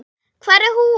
Hvar er hún?